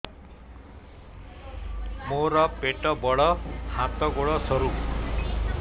ମୋର ପେଟ ବଡ ହାତ ଗୋଡ ସରୁ